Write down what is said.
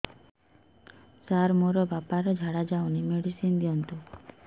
ସାର ମୋର ବାପା ର ଝାଡା ଯାଉନି ମେଡିସିନ ଦିଅନ୍ତୁ